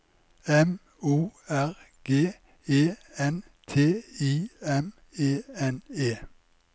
M O R G E N T I M E N E